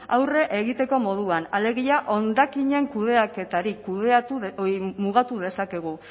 aurre egiteko moduan alegia hondakinen kudeaketari mugatu dezakegu